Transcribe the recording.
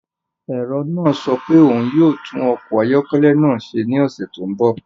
Ẹ̀rọ náà sọ pé òun yóò tún ọkọ̀ ayọ́kẹ́lẹ́ náà ṣe ní ọ̀sẹ̀ tó ń bọ̀.